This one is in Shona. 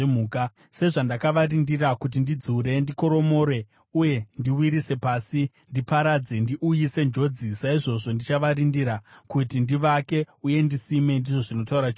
Sezvandakavarindira kuti ndidzure, ndikoromore, uye ndiwisire pasi, ndiparadze, ndiuyise njodzi, saizvozvo ndichavarindira, kuti ndivake uye ndisime,” ndizvo zvinotaura Jehovha.